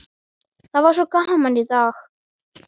Það var svo gaman í dag!